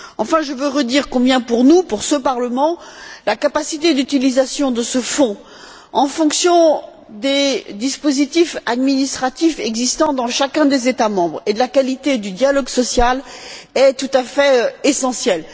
Enfin, je veux redire combien, pour nous, pour ce Parlement, la capacité d'utilisation de ce Fonds en fonction des dispositifs administratifs existant dans chacun des États membres et de la qualité du dialogue social est tout à fait essentielle.